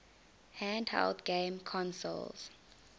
handheld game consoles